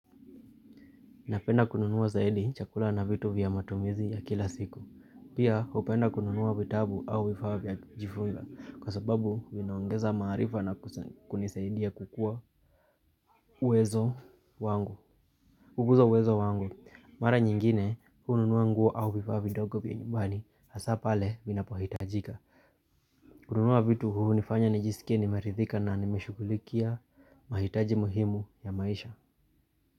Napenda kununua zaidi chakula na vitu vya matumizi ya kila siku. Pia hupenda kununua vitabu au vifaa vya kujifunza. Kwa sababu vinaongeza maarifa na kunisaidia kukua uwezo wangu. Kukuza uwezo wangu mara nyingine hununua nguo au vifaa vidogo vya nyumbani hasaa pale vinapohitajika. Kununua vitu hunifanya nijisikie nimeridhika na nimeshugulikia mahitaji muhimu ya maisha.